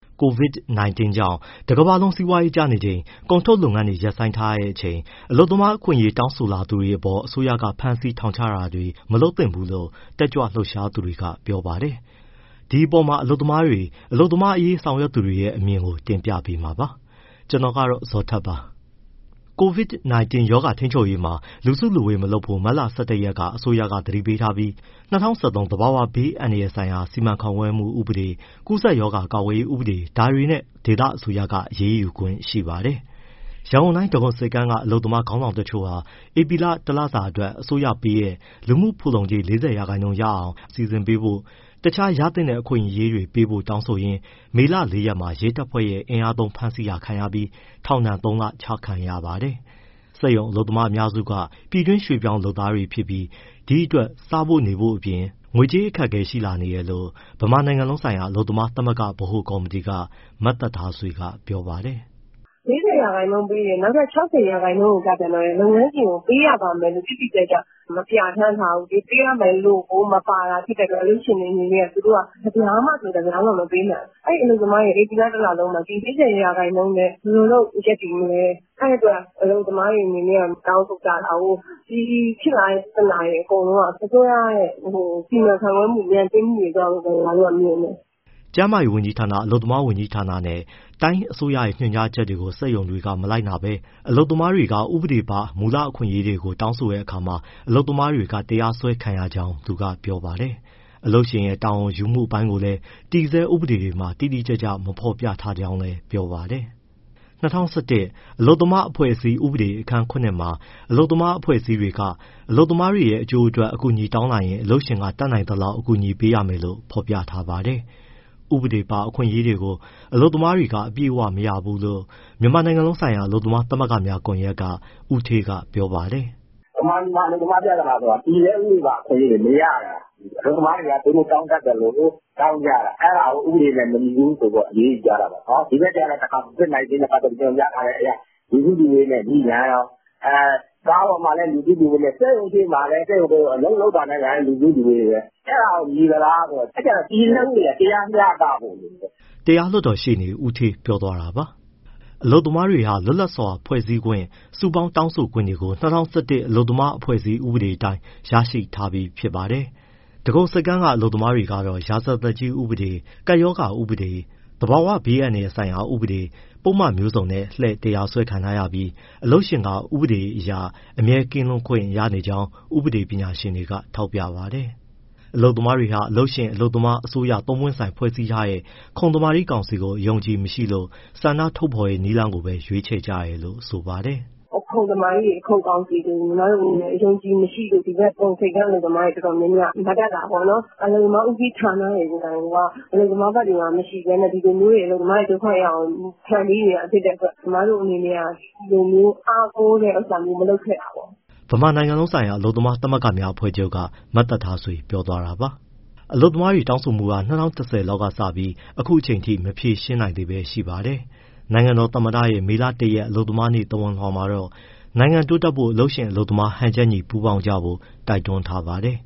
COVID-19 ကြောင့် တကမ္ဘာလုံး စီးပွားရေးကျနေချိန်၊ ကုန်ထုတ်လုပ်ငန်းတွေ ရပ်ဆိုင်းထားချိန် အလုပ်သမားအခွင့်အရေး တောင်းဆိုလာတဲ့သူတွေပေါ် အစိုးရက ဖမ်းဆီး၊ ထောင်ချတာတွေ မလုပ်သင့်ဘူးလို့ တက်ကြွလှုပ်ရှားသူတွေက ပြောပါတယ်။ ဒီအပေါ်မှာ အလုပ်သမားတွေ၊ အလုပ်သမားအရေး ဆောင်ရွက်သူတွေရဲ့ အမြင်ကို ဗွီအိုအေမြန်မာပိုင်းသတင်းထောက် ကိုဇော်ထက်က တင်ပြပေးပါမယ်။ COVID-19 ရောဂါထိန်းချုပ်ရေးမှာ လူစုလူဝေး မလုပ်ဖို့ မတ်လ ၁၁ ရက်မှာ အစိုးရက သတိပေးထားပြီး ၂၀၁၃ သဘာဝဘေးအန္တရာယ်ဆိုင်ရာ စီမံခန့်ခွဲမှု ဥပဒေ၊ ကူးစက်ရောဂါ ကာကွယ်ရေးဥပဒေ ဒါတွေနဲ့ ဒေသအစိုးရက အရေးယူခွင့်ရှိပါတယ်။ ရန်ကုန်တိုင်း၊ ဒဂုံဆိပ်ကမ်းက အလုပ်သမား ခေါင်းဆောင်တချို့ဟာ ဧပြီလ တလစာအတွက် အစိုးရပေးတဲ့ လူမှုဖူလုံကြေး ၄၀ ရာခိုင်နှုန်း ရအောင် အလုပ်ရှင်က စီစဉ်ပေးဖို့၊ တခြားရသင့်တဲ့ အခွင့်အရေးတွေပေးဖို့ တောင်းဆိုရင်း မေလ ၄ ရက်မှာ ရဲတပ်ဖွဲ့ရဲ့ အင်အားသုံးဖမ်းဆီးတာခံရပြီး ထောင်ဒဏ် ၃လ ချမှတ်ခံရပါတယ်။ စက်ရုံအလုပ်သမားအများစုက ပြည်တွင်ရွှေ့ပြောင်းလုပ်သားတွေ ဖြစ်ပြီး ဒီအတွက် စားဖို့အပြင် နေဖို့အတွက် ငွေကြေးအခက်အခဲ ရှိနေတယ်လို့ ဗမာနိုင်ငံလုံးဆိုင်ရာ အလုပ်သမားသမဂ္ဂ ဗဟိုကော်မတီက မသက်ထားဆွေက ပြောပါတယ်။ “၄၀ ရာခိုင်နှုန်းပေးတယ်၊ နောက် ၆၀ ရာခိုင်းနှုန်းကျပြန်တော့ လုပ်ငန်းရှင်က ပေးရပါမယ်လို့ တိတိကျကျ မပြဋ္ဌာန်းထားဘူး။ ပေးရမယ်လို့ကို မပါတာ ဖြစ်တဲ့အတွက် လုပ်ငန်းရှင်တွေအနေနဲ့က တပြားမှ မပေးဘူး။ အလုပ်သမားတွေက ဧပြီလ တလုံးမှာ ဒီ ၄၀ ရာခိုင်နှုန်းနဲ့ ဘယ်လိုလုပ် ရပ်တည်မလဲ။ အဲဒီအတွက် အလုပ်သမားတွေက တောင်းဆိုကြတာကိုး။ ဒီဖြစ်လာတဲ့ ပြဿနာတွေ အကုန်လုံးက အစိုးရရဲ့ စီမံခန့်ခွဲမှု ညံ့ဖျင်းမှုတွေကြောင့်လို့ ကျမတို့က မြင်တယ်။” ကျန်းမာရေးဝန်ကြီးဌာန၊ အလုပ်သမားဝန်ကြီးဌာနနဲ့ တိုင်းအစိုးရရဲ့ ညွှန်ကြားချက်တွေကို စက်ရုံတွေက မလိုက်နာဘဲ အလုပ်သမားတွေက ဥပဒေပါ မူလအခွင့်အရေးတွေကို တောင်းတဲ့အခါမှာ အလုပ်သမားတွေက တရားစွဲခံရကြောင်း သူကပြောပါတယ်။ အလုပ်ရှင်ရဲ့ တာဝန်ယူမှု အပိုင်းကိုလည်း တည်ဆဲဥပဒေတွေမှာ တိတိကျကျ မဖော်ပြထားကြောင်းလည်း ပြောပါတယ်။ ၂၀၁၁ အလုပ်သမားအဖွဲ့အစည်း ဥပဒေအခန်း (၇) မှာ အလုပ်သမားအဖွဲ့အစည်းတွေက အလုပ်သမားတွေ အကျိုးအတွက် အကူအညီ တောင်းလာရင် အလုပ်ရှင်က တတ်နိုင်သလောက် အကူအညီပေးရမယ်လို့ ဖော်ပြထားပါတယ်။ ဥပဒေပါ အခွင့်အရေးတွေကို အလုပ်သမားတွေက အပြည့်အဝ မရဘူလို့ မြန်မာနိုင်ငံလုံးဆိုင်ရာ အလုပ်သမားသမဂ္ဂများကွန်ရက်က ဦးဌေးကပြောပါတယ်။ “ဗမာပြည်မှာပြသနာဆိုတာ တည်ဆဲဥပဒေပါ အခွင့်အရေးတွေ မရတာ၊ အလုပ်သမားတွေက သူတို့တောင်းတတ်သလို တောင်းကြတာ။ အဲဒါကို ဥပဒေနဲ့ မညီဘူးဆိုပြီး အရေးယူကြတာပေါ့။ ဒီဘက်ကျတော့ COVID-19 နဲ့ပတ်သတ်ပြီး ညွှန်ကြားထားချက်အရ လူစုလူဝေးနဲ့ ငြိပြန်ရော။ ကားပေါ်မှာလည်း လူစုလူဝေးနဲ့ စက်ရုံရှေ့မှာလည်း အလုပ်လုပ်တာနဲ့ လူစုလူဝေးပဲ။ အဲဒါရော ညီသလားဆိုတော့ အဲဒါကြောင့် တည်ဆဲဥပဒေအရ တရားမျှတဖို့လိုတယ်။” တရားလွှတ်တော်ရှေ့နေ ဦးဌေးပြောသွားတာပါ။ အလုပ်သမားတွေဟာ လွတ်လပ်စွာ ဖွဲ့စည်းခွင့်၊ တောင်းဆိုခွင့်၊ စုပေါင်းတောင်းဆိုခွင့်တွေကို ၂၀၁၁ အလုပ်သမားအဖွဲ့အစည်း ဥပဒေအတိုင်း ရရှိထားပြီးဖြစ်ပါတယ်။ ဒဂုံဆိပ်ကမ်းက အလုပ်မားကတော့ ရာဇသတ်ကြီးဥပေဒ၊ ကပ်ရောဂါဥပဒေ၊ သဘာဝဘေအန္တရာယ်ဆိုင်ရာ ဥပဒေ၊ ပုဒ်မမျိုးစုံနဲ့ လှည့်တရားစွဲခံထားရပြီး အလုပ်ရှင်က ဥပဒေအရ အမြဲကင်းလွတ်ခွင့်ရနေကြောင်း ဥပဒေပညာရှင်တွေက ထောက်ပြပါတယ်။ အလုပ်သမားတွေဟာ အလုပ်ရှင်၊ အလုပ်သမား၊ အစိုးရ သုံးပွင့်ဆိုင်ဖွဲ့စည်းထားတဲ့ ခုံသမာဓိကောင်စီကို အယုံအကြည်မရှိလို့ ဆန္ဒထုတ်ဖော်တဲ့ နည်းလမ်းကို ရွေးချယ်ကြတယ်လို့ဆိုပါတယ်။ “ခုံသမာဓိတွေ၊ ခုံကောင်စီတွေကို အယုံအကြည်မရှိလို့ ဒဂုံဆိပ်ကမ်း အလုပ်သမားတွေက မတက်တာပေါ့နော်။ အလုပ်သမားဦးစီးဌာနတွေ ကိုယ်တိုင်ကိုက အလုပ်သမားဘက်တွေမှာ မရှိဘဲနဲ့ အလုပ်သမားတွေ ဒုက္ခရောက်အောင် ဖန်တီးနေတာဖြစ်တဲ့အတွက် ကျမတို့က ဒီလိုမျိုး အားကိုးတဲ့ဟာမျိုး မလုပ်ခဲ့တာပေါ့။” ဗမာနိုင်ငံလုံးဆိုင်ရာ အလုပ်သမားသမဂ္ဂများအဖွဲ့ချုပ်က မသက်ထားဆွေ ပြောသွားတာပါ။ အလုပ်သမားတောင်းဆိုမှုတွေဟာ ၂၀၁၀ လောက်ကစပြီး အခုအချိန်အထိ မဖြေရှင်းနိုင်သေးပဲရှိပါတယ်။ နိုင်ငံတော်သမ္မတရဲ့ မေလ ၁ရက် ကမ္ဘာ့အလုပ်သမားနေ့ သဝဏ်လွှာမှာတော့ နိုင်ငံတိုးတက်ဖို့ အလုပ်ရှင်၊ အလုပ်သမား ဟန်ချက်ညီ ပူးပေါင်းကြဖို့ တိုက်တွန်းထားပါတယ်